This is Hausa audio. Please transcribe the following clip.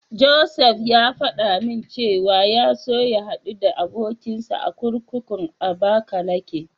Josef ya faɗa min cewa ya so ya haɗu da abokinsa a kurkukun Abakalake.